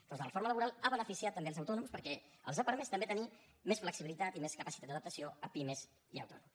doncs la reforma laboral ha beneficiat també els autònoms perquè els ha permès també tenir més flexibilitat i més capacitat d’adaptació a pimes i a autònoms